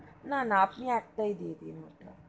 না না আপনি একটাই দিয়ে দিন ওটা.